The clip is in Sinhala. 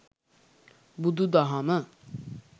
බුදුදහම